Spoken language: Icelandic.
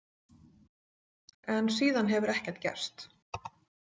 En síðan hefur ekkert gerst.